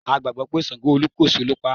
A gbàgbọ́ pé ṣàǹgó olúkòso ló paá.